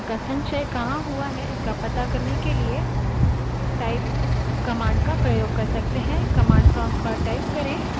यह files directories में समाहित होती हैं command का संचय कहाँ हुआ है इसका to करने के लिए type command का प्रयोग कर सकते हैं